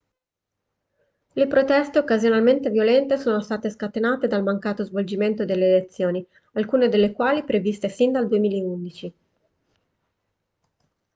le proteste occasionalmente violente sono state scatenate dal mancato svolgimento delle elezioni alcune delle quali previste sin dal 2011